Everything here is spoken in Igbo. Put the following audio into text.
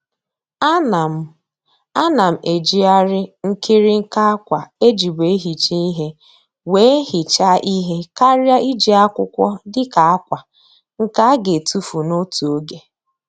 A na m A na m ejighari nkirinka akwa ejibu ehicha ihe wee hichaa ihe karịa iji akwụkwọ dịka akwa nke a ga etufu n'otu oge.